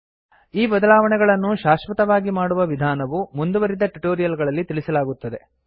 ಈ ಬದಲಾವಣೆಗಳನ್ನು ಶಾಶ್ವತವಾಗಿ ಮಾಡುವ ವಿಧಾನವು ಮುಂದುವರಿದ ಟ್ಯುಟೋರಿಯಲ್ ಗಳಲ್ಲಿ ತಿಳಿಸಲಾಗುತ್ತದೆ